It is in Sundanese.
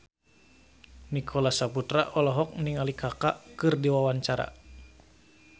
Nicholas Saputra olohok ningali Kaka keur diwawancara